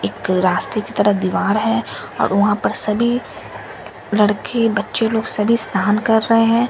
एक रास्ते के तरफ़ दीवार है और वहां पर सभी लड़के बच्चे लोग सभी स्थान कर रहे हैं।